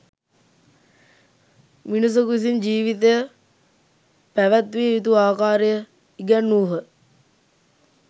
මිනිසකු විසින් ජීවිතය පැවැත්විය යුතු ආකාරය ඉගැන්වූ හ.